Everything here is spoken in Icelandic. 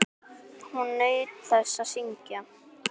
Hún naut þess að syngja.